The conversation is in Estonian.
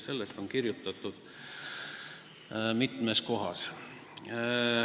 Sellest on kirjutatud mitmel pool.